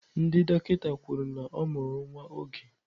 Ndị dọkịta kwuru na ọ mụrụ nwa oge.